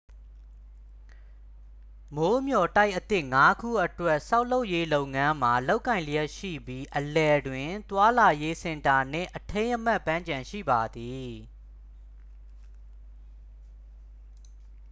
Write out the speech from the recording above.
မိုးမျှော်တိုက်အသစ် 5 ခုအတွက် ဆောက်လုပ်ရေးလုပ်ငန်းမှာ လုပ်ကိုင်လျှက်ရှိပြီး အလယ်တွင် သွားလာရေး စင်တာနှင့် အထိမ်းအမှတ်ပန်းခြံ ရှိပါသည်